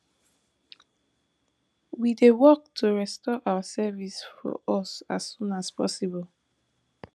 we dey work to restore our service for di us as soon as possible